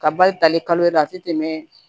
Ka bali tali kalo yɛrɛ la a te tɛmɛ